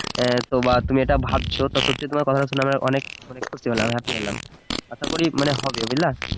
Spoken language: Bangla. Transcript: হ্যাঁ তো বা তুমি এটা ভাবছো তা সত্যি তোমার অনেক কথা শুনে অনেক খুশি হলাম happy হলাম আসা করি হবে বুঝলা